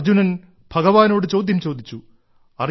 അർജ്ജുനൻ ഭഗവാനോട് ചോദ്യം ചോദിച്ചു